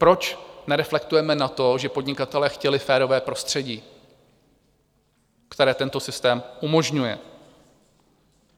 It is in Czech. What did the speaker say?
Proč nereflektujeme na to, že podnikatelé chtěli férové prostředí, které tento systém umožňuje?